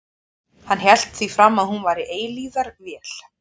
Hann hélt því fram að hún væri eilífðarvél.